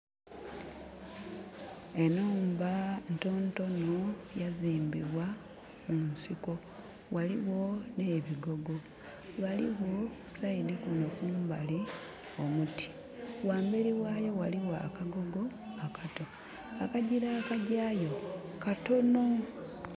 Enhumba ntonotono yazimbibwa munsiko ghaligho ne bigogo. Ghaligho saidi kuno kumbali omuti. Ghamberi ghayo ghaligho akagogo akato. Akajira akajayo katono.